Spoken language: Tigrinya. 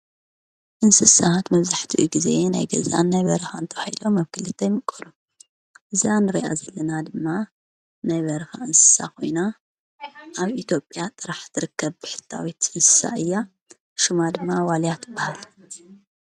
እንስሳት መዝሕቲ ጊዜ ናይ ገዛን ናይ በርኻ ተባሂሎም ኣብ ክልተ ይምቆሉ ። እዛ እንርእያ ዘለና ድማ ናይ በርኻ እንስሳ ኾይና ኣብ ኢትኦጵያ ጥራሕ ትርከብ ብሕታዊት እንስሳ እያ። ሹማ ድማ ዋልያት በሃል